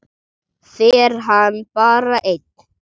Fer hann bara einn?